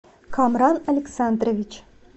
камран александрович